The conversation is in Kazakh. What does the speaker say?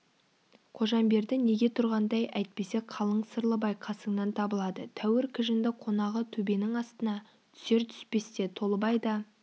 қожамберді неге тұрғандай әйтпесе қалың сырлыбай қасыңнан табылады тәуір кіжінді қонағы төбенің астына түсер-түспесте толыбай да